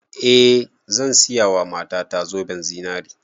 Eh zan siya wa mata ta zoben zinare